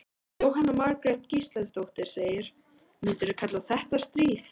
Jóhanna Margrét Gísladóttir: Myndirðu kalla þetta stríð?